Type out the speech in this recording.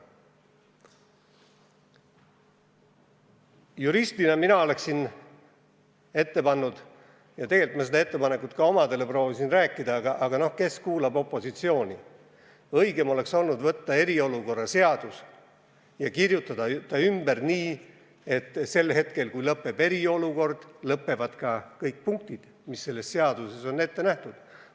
Juristina oleksin mina ette pannud – ja tegelikult ma seda ettepanekut omadele ka proovisin rääkida, aga noh, kes see ikka opositsiooni kuulab –, et õigem oleks võtta eriolukorra seadus ja kirjutada see ümber nii, et sel hetkel, kui eriolukord lõppeb, lõppevad ka kõik punktid, mis selles seaduses on ette nähtud.